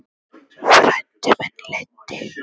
Fræddi mig og leiddi.